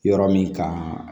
Yɔrɔ min kan